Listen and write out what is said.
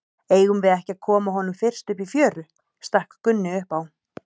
Eigum við ekki að koma honum fyrst upp í fjöru, stakk Gunni upp á.